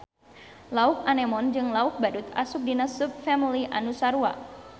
Lauk anemon jeung lauk badut asup dina subfamili anu sarua